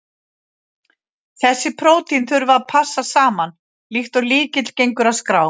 Þessi prótín þurfa að passa saman, líkt og lykill gengur að skrá.